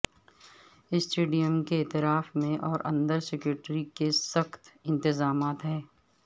stadium کے اطراف میں اور اندر سیکیورٹی کے سکت انتظامات ہیں